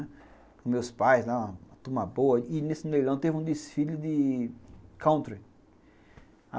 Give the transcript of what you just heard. Com meus pais lá, uma turma boa, e nesse leilão teve um desfile de country.